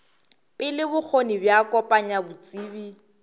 pele bokgoni bja kopanya botsebi